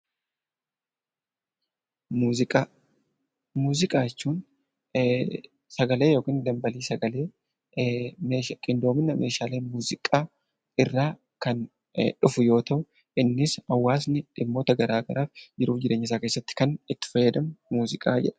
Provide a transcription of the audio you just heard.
Muuziqaa Muuziqaa jechuun sagalee yookiin dambalii sagalee qindoomina Meeshaalee muuziqaa irraa kan dhufu yoo ta'an, innis hawaasni dhimmoota garaagaraaf jiruu fi jireenya isaa keessatti kan itti fayyadamu muuziqaa jedhama.